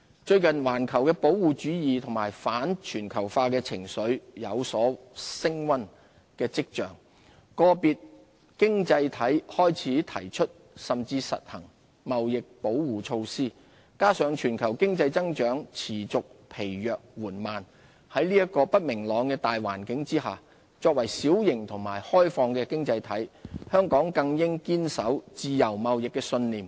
最近環球的保護主義和反全球化情緒有升溫跡象，個別經濟體開始提出甚至實行貿易保護措施，加上全球經濟增長持續疲弱緩慢，在這個不明朗的大環境下，作為小型及開放的經濟體，香港更應堅守自由貿易的信念。